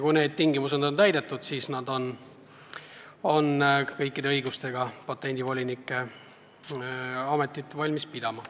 Kui need tingimused on täidetud, siis nad on kõikide õigustega patendivoliniku ametit valmis pidama.